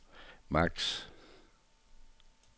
maks